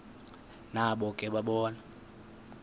nabo ke bona